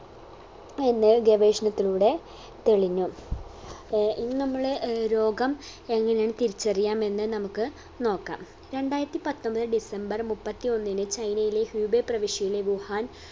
എന്ന് ഗവേഷണത്തിലൂടെ തെളിഞ്ഞു ഏർ ഇനി നമ്മൾ ഏർ രോഗം എങ്ങനെയാണ് തിരിച്ചറിയാം എന്ന് നമുക്ക് നോക്കാം രണ്ടായിരത്തി പത്തൊമ്പത് ഡിസംബർ മുപ്പത്തിയൊന്നിന് ചൈനയിലെ ഹ്യുബേ പ്രവിശ്യയിലെ വുഹാൻ